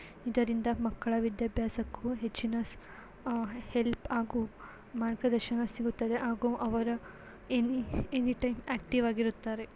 ಇದರಿಂದ ಮಕ್ಕಳ ವಿದ್ಯಾಭ್ಯಾಸಕ್ಕೂ ಹೆಚ್ಚಿನ ಅಹ್ ಹೆಲ್ಪ್ ಹಾಗೂ ಮಾರ್ಗದರ್ಶನ ಸಿಗುತ್ತದೆ. ಹಾಗೂ ಅವರ ಎನಿ -ಎನಿ ಟೈಮ್ ಆಕ್ಟಿವ್ ಆಗಿರುತ್ತಾರೆ.